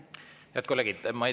Head kolleegid!